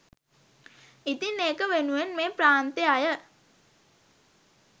ඉතින් ඒක වෙනුවෙන් මේ ප්‍රාන්තෙ අය